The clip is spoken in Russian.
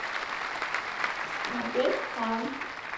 смотреть фан